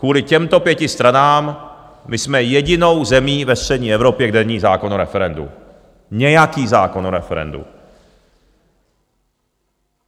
Kvůli těmto pěti stranám my jsme jedinou zemí ve střední Evropě, kde není zákon o referendu, nějaký zákon o referendu.